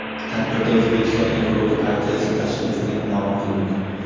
Tadbirda O‘zbekiston ekologik partiyasi tashkil etilgani ma’lum qilindi.